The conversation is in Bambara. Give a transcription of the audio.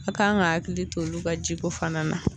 A kan ka hakili to olu ka jiko fana na